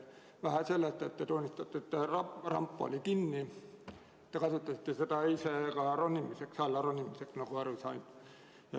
Vähe sellest, et te tunnistate, et ramp oli kinni, te kasutasite seda ise ka alla ronimiseks, nagu ma aru sain.